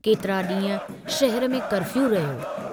केतिरा डींहं शहर में कर्फ़ियू रहियो।